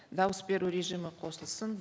дауыс беру режимі қосылсын